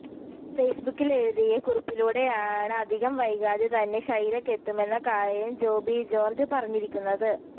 ഫേസ്ബുക്കിലെഴുതിയ കുറിപ്പിലൂടെയാണ് അധികം വൈകാതെ തന്നെ ഷൈലക്ക് എത്തുമെന്ന കാര്യം ജോബി ജോര്ജ് പറഞ്ഞിരിക്കുന്നത്